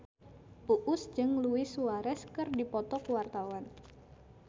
Uus jeung Luis Suarez keur dipoto ku wartawan